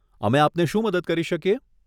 અમે આપને શું મદદ કરી શકીએ?